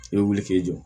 I bɛ wuli k'i jɔ